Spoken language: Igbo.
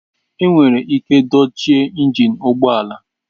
Enwere ike dochie injin ụgbọ ala.